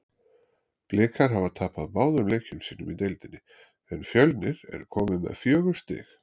Blikar hafa tapað báðum leikjum sínum í deildinni en Fjölnir er komið með fjögur stig.